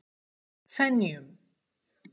Fenjum